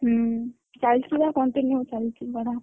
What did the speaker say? ହଁ, ଚାଲିଛି ବା continue ଚାଲିଛି ପଢା।